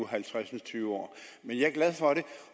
halvtreds år men jeg er glad for det